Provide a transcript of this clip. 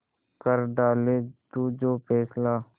कर डाले तू जो फैसला